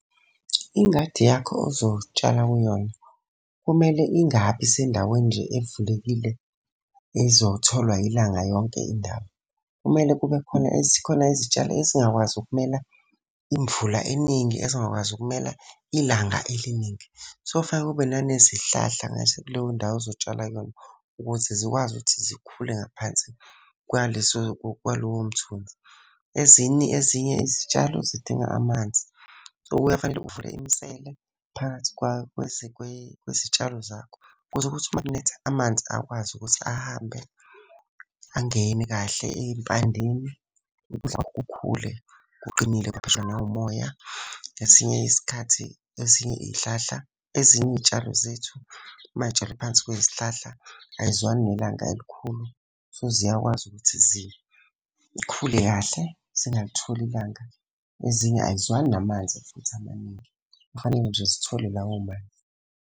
Ingadi yakho ozotshala kuyona, kumele ingabi sendaweni nje evulekile ezotholwa ilanga yonke indawo. Kumele kube khona khona izitshalo ezingakwazi ukumela imvula eningi, ezingakwazi ukumela ilanga eliningi. So, fanele ube nanezihlahla kuleyo ndawo ozotshala kuyona, ukuze zikwazi ukuthi zikhule ngaphansi kwaleso kwalowo mthunzi. Ezinye izitshalo zidinga amanzi, so, kuye fanele uvule imisele phakathi kwezitshalo zakho ukuze kuthi uma kunetha amanzi akwazi ukuthi ahambe angene kahle ey'mpandeni. Ukudla kwakho kukhule kuqinile, nawu umoya. Esinye isikhathi, ezinye iy'hlahla, ezinye iy'tshalo zethu may'tshalwe phansi kwey'hlahla ay'zwani nelanga elikhulu. So, ziyakwazi ukuthi zikhule kahle, zingalitholi ilanga. Ezinye ay'zwani namanzi futhi amaningi, kufanele nje zithole lawo manzi.